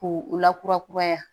K'u u lakura kuraya